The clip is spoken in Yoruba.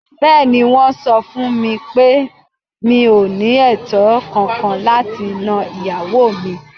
Bẹ́ẹ̀ni, Wọ́n sọ fún mi pé mi ò ní ẹ̀tọ́ kànkan láti nan ìyàwó mi.